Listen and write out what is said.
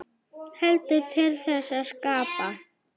Heldur til þess að skapa.